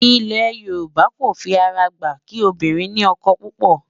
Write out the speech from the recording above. ilé yorùbá kò fí ará gbà kí obìnrin ní ókó púpò